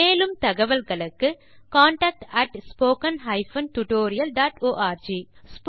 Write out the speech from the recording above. மேலும் தகவல்களுக்கு contact spoken tutorialorg